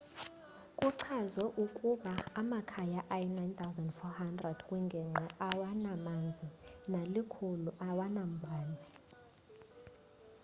kuchazwe ukuba amakhaya ayi 9400 kwingingqi awanamanzi nali 100 awanambane